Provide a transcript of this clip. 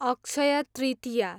Akshaya Tritiya